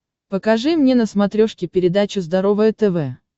покажи мне на смотрешке передачу здоровое тв